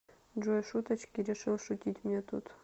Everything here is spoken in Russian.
джой шуточки решил шутить мне тут